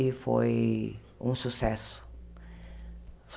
E foi um sucesso.